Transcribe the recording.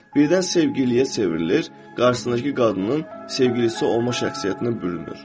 Birdən sevgiliyə çevrilir, qarşısındakı qadının sevgilisi olma şəxsiyyətinə bürünür.